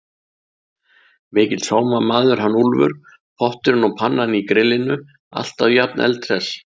Mikill sómamaður hann Úlfur. potturinn og pannan í grillinu, alltaf jafn eldhress!